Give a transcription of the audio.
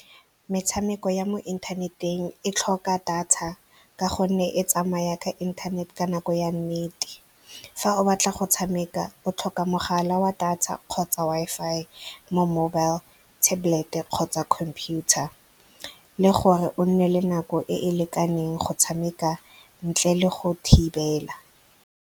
Metshameko ya mo inthaneteng e tlhoka data ka gonne e tsamaya ka inthanete ka nako ya nnete. Fa o batla go tshameka, o tlhoka mogala wa data kgotsa tsa Wi-Fi mo mobile tablet-e kgotsa computer le gore o nne le nako e e lekaneng go tshameka ntle le go thibela.